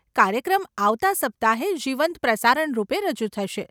કાર્યક્રમ આવતાં સપ્તાહે, જીવંત પ્રસારણ રૂપે રજૂ થશે.